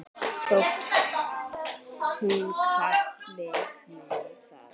þótt þú kallir mig það.